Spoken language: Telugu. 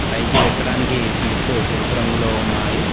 పైకి ఎక్కడానికి మెట్లు తెలుపు రంగులో ఉన్నాయి.